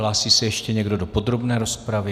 Hlásí se ještě někdo do podrobné rozpravy?